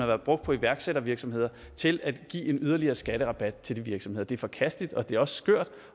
været brugt på iværksættervirksomheder og til at give en yderligere skatterabat til de virksomheder det er forkasteligt det er også skørt